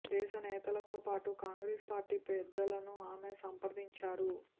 దేశ నేతలతో పాటు కాంగ్రేస్ పార్టీ పెద్దలను ఆమె సంప్రదించారు